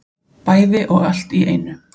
Bæði og allt í einu